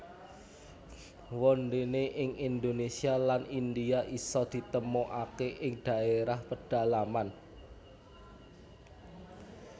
Wondene ing Indonesia lan India iso ditemukake ing daerah pedalaman